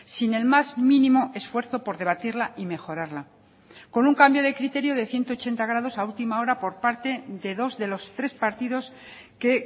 sin el más mínimo esfuerzo por debatirla y mejorarla con un cambio de criterio de ciento ochenta grados a última hora por parte de dos de los tres partidos que